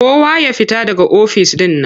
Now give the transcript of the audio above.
Kowa ya fita daga ofis ɗin nan!